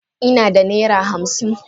Ina da naira hamsin.